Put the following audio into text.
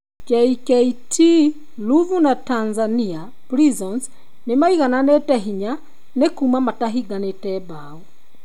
Jkt Ruvu na Tanzania Prisons nĩ maigananĩtĩ hinya nĩ kuuma matahinganĩtĩ bao.